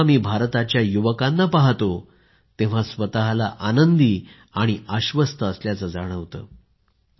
जेव्हा मी भारताच्या युवकांना पाहतो तेव्हा स्वतःला आनंदी आणि आश्वस्त जाणवतं